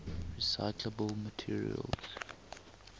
recyclable materials